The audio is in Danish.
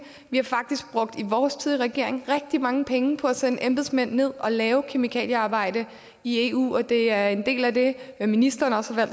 vi har faktisk i vores tid i regering rigtig mange penge på at sende embedsmænd ned og lave kemikaliearbejde i eu og det er en del af det ministeren også har